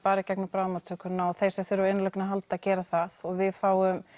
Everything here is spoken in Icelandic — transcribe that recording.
bara í gegnum bráðamóttökuna og þeir sem þurfa á innlögn að halda gera það og við fáum